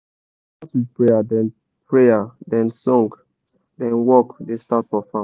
we da start with prayer then prayer then song then work da start for farm